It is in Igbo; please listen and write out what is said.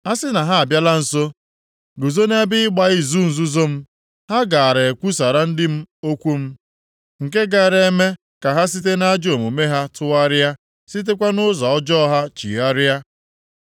A sị na ha abịala nso guzo nʼebe ịgba izu nzuzo m, ha gaara ekwusara ndị m okwu m, nke gaara eme ka ha site nʼajọ omume ha tụgharịa, sitekwa nʼụzọ ọjọọ ha chigharịa.